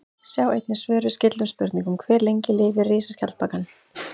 Sjá einnig svör við skyldum spurningum: Hve lengi lifir risaskjaldbakan?